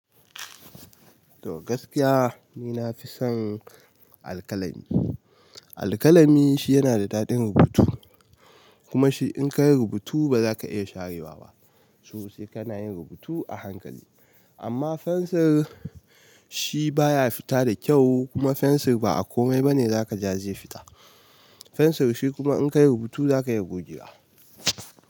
To gaskiya, ni nafi son alkalami. Alkalami shi yana da dadin rubutu, kuma shi in kayi rubutu, ba zaka iya sharewa ba, shiyasa kana yin runbutu a hankali amma fensir shi baya fita da kyau kuma fensir ba a komai bane zaka ja zai fita, fensir shi kuma in ka yi rubutu zaka iya goge wa.